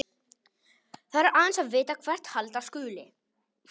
Þarf aðeins að vita hvert halda skuli.